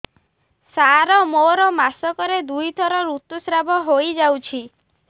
ସାର ମୋର ମାସକରେ ଦୁଇଥର ଋତୁସ୍ରାବ ହୋଇଯାଉଛି